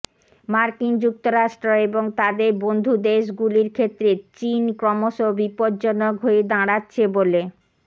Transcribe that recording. মার্কিন যুক্তরাষ্ট্র এবং তাদের বন্ধুদেশগুলির ক্ষেত্রে চিন ক্রমশ বিপজ্জনক হয়ে দাঁড়াচ্ছে বলেও